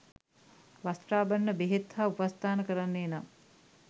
වස්ත්‍රාභරණ, බෙහෙත් හා උපස්ථාන කරන්නේ නම්